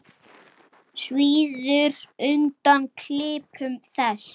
Svíður undan klipum þess.